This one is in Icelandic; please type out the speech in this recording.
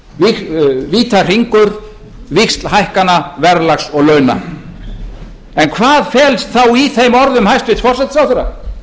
og illræmdur vítahringur víxlhækkana verðlags og launa en hvað felst þá í þeim orðum hæstvirts forsætisráðherra